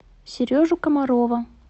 сережу комарова